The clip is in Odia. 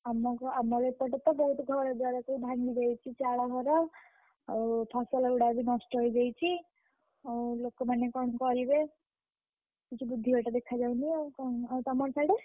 ଆମକୁ ଆମର ଏପଟେ ତ ବହୁତ୍ ଘରଦ୍ୱାର ସବୁ ଭାଙ୍ଗିଯାଇଛି ଚାଳ ଘର, ଆଉ ଫସଲଗୁଡାକ ବି ନଷ୍ଟ ହେଇଯାଇଛି। ଆଉ ଲୋକ ମାନେ କଣ କରିବେ? କିଛି ବୁଦ୍ଧି ବାଟ ଦେଖା ଯାଉନି ଆଉ କଣ ଆଉ ତମର ସାଡେ?